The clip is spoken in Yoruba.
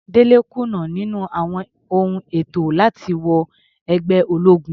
Dele kùnà níní àwọn ohun ètò láti wọ ẹgbẹ́ ológun.